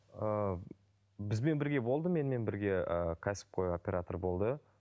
ыыы бізбен бірге болды менімен бірге ііі кәсіпқой оператор болды